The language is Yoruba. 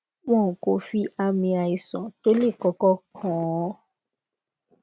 wọn kò fi ami àìsàn tó le koko kan hàn